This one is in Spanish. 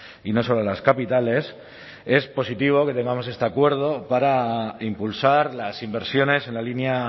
y no solo las capitales es positivo que tengamos este acuerdo para impulsar las inversiones en la línea